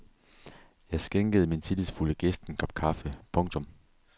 Jeg skænkede min tillidsfulde gæst en kop kaffe. punktum